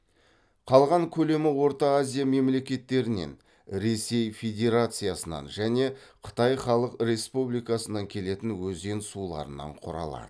қалған көлемі орта азия мемлекеттерінен ресей федерациясынан және қытай халық республикасынан келетін өзен суларынан құралады